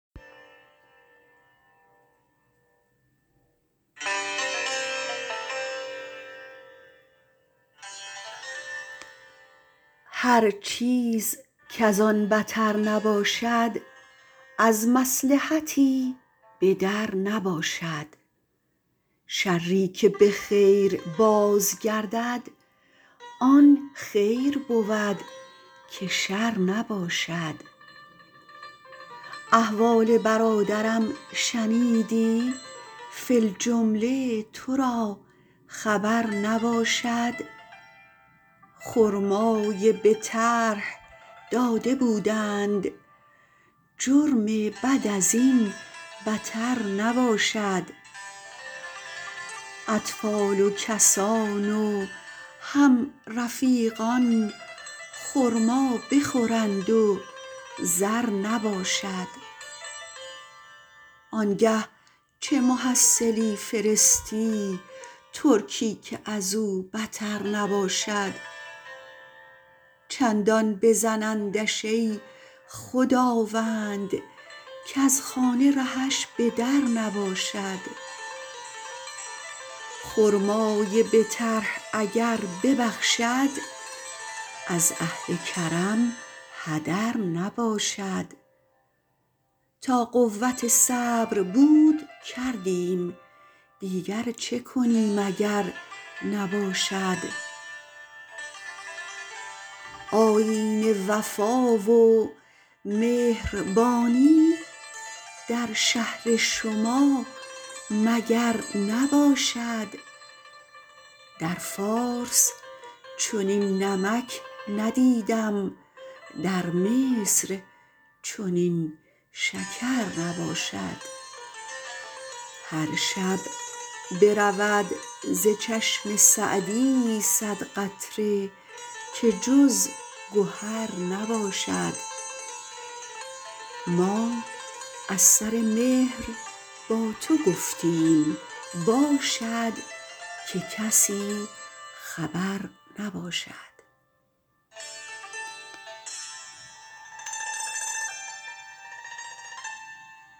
هر چیز کزان بتر نباشد از مصلحتی به در نباشد شری که به خیر باز گردد آن خیر بود که شر نباشد احوال برادرم شنیدی فی الجمله تو را خبر نباشد خرمای به طرح داده بودند جرم بد از این بتر نباشد اطفال و کسان و هم رفیقان خرما بخورند و زر نباشد آنگه چه محصلی فرستی ترکی که ازو بتر نباشد چندان بزنندش ای خداوند کز خانه رهش به در نباشد خرمای به طرح اگر ببخشد از اهل کرم هدر نباشد تا قوت صبر بود کردیم دیگر چه کنیم اگر نباشد آیین وفا و مهربانی در شهر شما مگر نباشد در فارس چنین نمک ندیدم در مصر چنین شکر نباشد هر شب برود ز چشم سعدی صد قطره که جز گهر نباشد ما از سر مهر با تو گفتیم باشد که کسی خبر نباشد